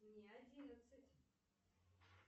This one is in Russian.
мне одиннадцать